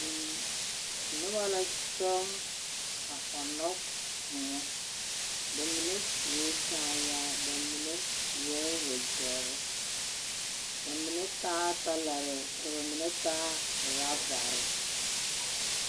Noba la kyɔŋ, a ɔnnɔ kõɔ. Ba mine sue kaayaa ba mine seɛ wogyɛrr. Ba mine taa talarɛɛ ka ba mine taa raabare.